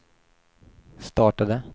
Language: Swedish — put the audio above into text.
startade